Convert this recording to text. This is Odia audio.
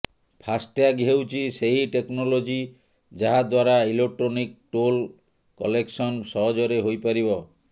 ଫାସ୍ ଟ୍ୟାଗ୍ ହେଉଛି ସେହି ଟେକ୍ନୋଲୋଜି ଯାହାଦ୍ବାରା ଇଲେକଟ୍ରୋନିକ୍ ଟୋଲ୍ କଲେକ୍ସନ୍ ସହଜରେ ହୋଇପାରିବ